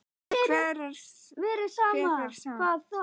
Hvert fer Stam?